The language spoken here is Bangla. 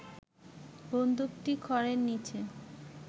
বন্দুকটি খড়ের নিচে